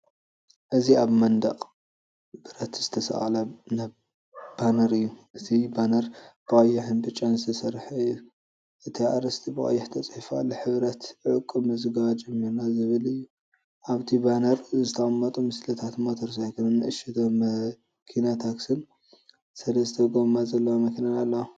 እዚ ኣብ መንደቕ ብረት ዝተሰቕለ ባነር እዩ። እቲ ባነር ብቐይሕን ብጫን ዝተሰርሐ እዩ። እቲ ኣርእስቲ ብቐይሕ ተጻሒፉ ኣሎ፡ "ሕብረት "ዕቁብ ምዝገባ ጅሚርና" ዝብል እዩ። ኣብቲ ባነር ዝተቐመጡ ምስልታት፤ ሞተር ሳይክልን፣ እሽቶ መኪናታክሲን፣ ሰለስተ ጎማ ዘለዋ መኪናን ኣላዋ።